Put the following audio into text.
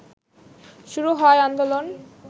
শুরু হয় আন্দোলন